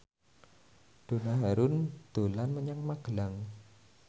Donna Harun dolan menyang Magelang